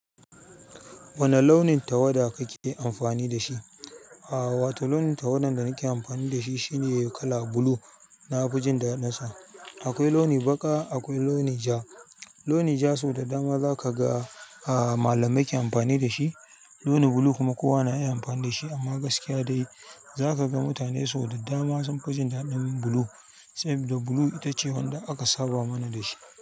Wani launi tawada kake amfani da shi a'a wato launin tawada da nake amfani da shi shine kala blue. Na fi jin daɗi sa akwai launi baka akwai launi ja. Launi ja sau da dama za ka ga a malamai ke amfani da shi. Launi blue kuma kowa na iya amfani da shi amma gaskiya dai za ka ga mutane sau da dama sun fi ji daɗin blue, saboda blue ita ce wadda aka saba mana da shi.